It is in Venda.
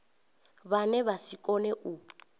vhane vha si kone u